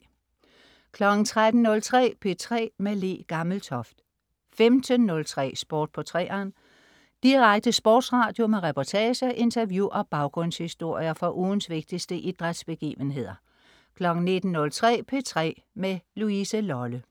13.03 P3 med Le Gammeltoft 15.03 Sport på 3'eren. Sport på 3'eren. Direkte sportsradio med reportager, interview og baggrundshistorier fra ugens vigtigste idrætsbegivenheder 19.03 P3 med Louise Lolle